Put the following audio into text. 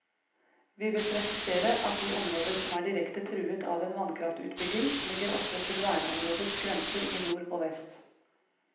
Vi vil presisere at de områder som er direkte truet av en vannkraftutbygging ligger opp til verneområdets grenser i nord og vest.